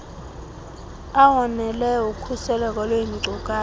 awoneleyo okhuseleko lweenkcukacha